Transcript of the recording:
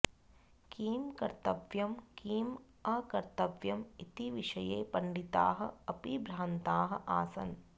किं कर्तव्यं किम् अकर्तव्यम् इति विषये पण्डिताः अपि भ्रान्ताः आसन्